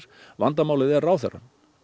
vandamálið er ráðherrann